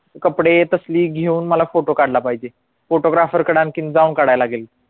कपडे तसली घेऊन मला फोटो काढला पाहिजे photographer कडे आणखीन जाऊन काढाय लगेल